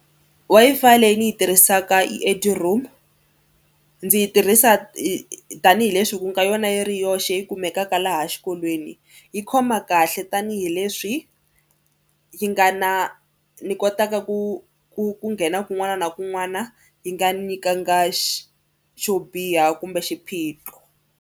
Wi-Fi leyi ni yi tirhisaka i Eduroam ndzi yi tirhisa tanihileswi ku nga yona yi ri yoxe yi kumekaka laha xikolweni. Yi khoma kahle tanihileswi yi nga na ni kotaka ku ku ku nghena kun'wana na kun'wana yi nga ni nyikanga xo biha kumbe xiphiqo.